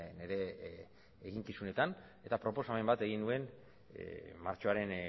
nire eginkizunetan eta proposamen bat egin nuen martxoaren